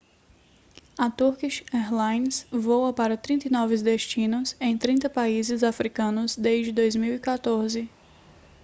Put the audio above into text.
a turkish airlines voa para 39 destinos em 30 países africanos desde 2014